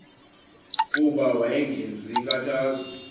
kuba wayengenzi nkathazo